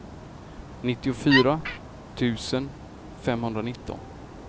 nittiofyra tusen femhundranitton